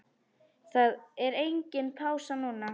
Það er engin pása núna.